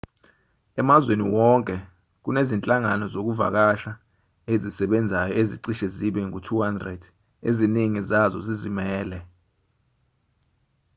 emazweni wonke kunezinhlangano zokuvakasha ezisebenzayo ezicishe zibe ngu-200 eziningi zazo zizimele